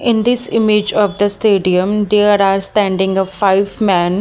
In this image of the stadium there are standing a five men.